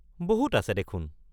বহুত আছে দেখোন!